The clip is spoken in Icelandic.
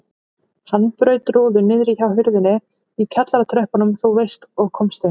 Hann braut rúðu niðri hjá hurðinni í kjallaratröppunum þú veist og komst inn.